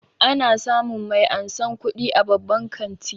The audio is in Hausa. Ana samun mai ansan kuɗi a babban kanti